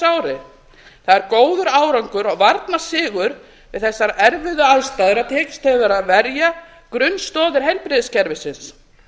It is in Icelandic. ári það er góður árangur og varnarsigur við þessar erfiðu aðstæður að tekist hefur að verja grunnstoðir heilbrigðiskerfisins